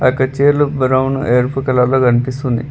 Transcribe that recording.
అక్కడ చైర్లు బ్రౌన్ ఎరుపు కలర్ లో కనిపిస్తుంది.